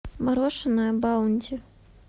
мороженое баунти